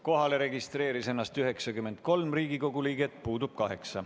Kohalolijaks registreeris ennast 93 Riigikogu liiget, puudub kaheksa.